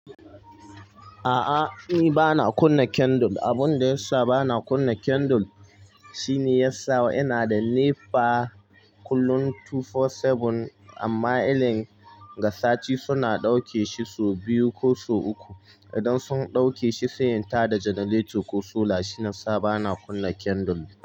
A'a, ni ba na kunna candle. Abun da ya sa ba na kunna candle shine yasa ina da NEPA kullum 24/7 amma illin ga sati suna dauke shi so biyu ko so uku. Idan sun dauke shi sai in tada generator ko solar. Shi yasa ba na kunna candle.